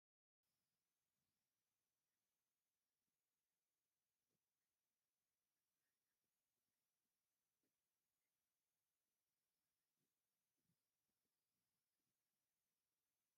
ደም ዝልግሱ መናእሰይ ይርአዩ ኣለዉ፡፡ እዚ ሰናይ ምግባር ኣብ ከባቢና ብዙሕ ዝተለመደ ኣይኮነን፡፡ ስለዚ ከ ዝወሃብ ስሙር ትምህርትን ቅስቀሳን ከ ኣሎ ዶ?